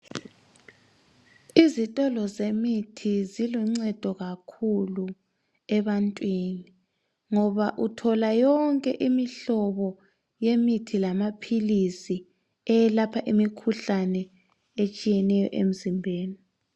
Izitolo zemithi ziluncedo kakhulu ebantwini ngoba uthola yonke imihlobo yemithi lamaphilisi eyelapha imikhuhlane etshiyeneyo emizimbeni.